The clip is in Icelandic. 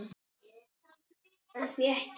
En því ekki?